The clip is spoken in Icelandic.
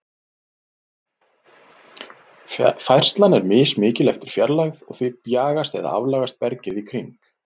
Færslan er mismikil eftir fjarlægð, og því bjagast eða aflagast bergið í kring.